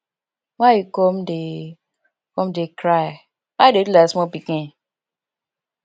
why you come dey come dey cry why you dey do like small pikin